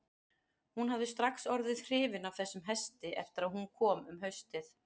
Hún hafði strax orðið hrifin af þessum hesti eftir að hún kom um haustið.